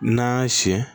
N'an y'a siyɛn